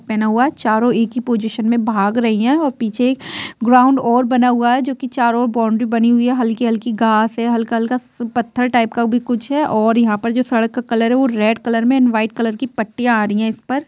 --पहना हुआ है चारों एक ही पोजिसन मे भाग रही है और पीछे ग्राउन्ड और बना हुआ है जो कि चारों बाउंड्री बनी हुई है हल्की-हल्की घास है हल्का-हल्का स पत्थर टाइप का भी कुछ है और यहाँ पर जो सड़क का कलर है वो रेड कलर मे एंड व्हाइट कलर की पट्टिया आ रही है इस पर।